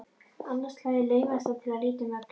Annað slagið laumaðist hann til að líta um öxl.